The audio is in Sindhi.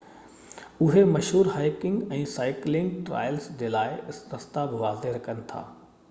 اهي مشهور هائيڪنگ ۽ سائيڪلنگ ٽرائلز جي لاءِ رستا بہ واضع ڪن ٿا